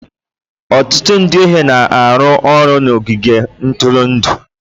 Ọtụtụ ndị ohi na-arụ ọrụ n'ogige ntụrụndụ